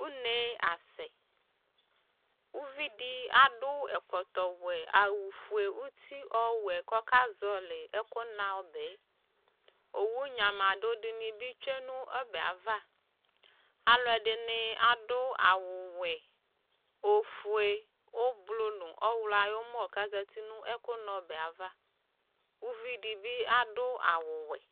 Uneasɛ, uvi dɩ adʋ ɛkɔtɔwɛ, awʋfue uti kʋ akɔzɔɣɔlɩ ɛkʋna ɔbɛ Owu nyamadʋ dɩnɩ bɩ tsue nʋ ɔbɛ yɛ ava Alʋɛdɩnɩ adʋ awʋwɛ, ofue, ʋblʋ nʋ ɔɣlɔ ayʋ ʋmɔ kʋ azati nʋ ɛkʋna ɔbɛ yɛ ava Uvi dɩ bɩ adʋ awʋwɛ